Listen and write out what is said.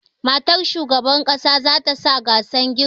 Matar shugaban ƙasa zata sa gasar girki